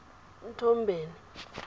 nthombeni